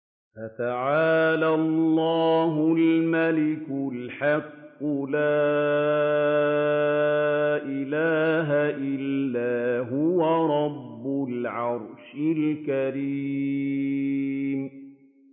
فَتَعَالَى اللَّهُ الْمَلِكُ الْحَقُّ ۖ لَا إِلَٰهَ إِلَّا هُوَ رَبُّ الْعَرْشِ الْكَرِيمِ